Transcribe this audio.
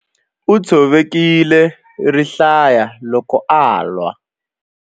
U tshovekile rihlaya loko a lwa.